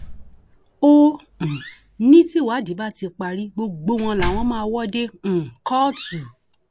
ó um ní tìwádìí bá ti parí gbogbo wọn làwọn máa wò dé um kóòtù